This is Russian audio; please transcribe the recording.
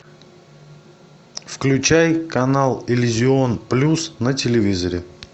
включай канал иллюзион плюс на телевизоре